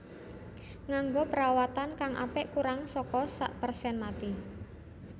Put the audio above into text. Nganggo perawatan kang apik kurang saka sak persen mati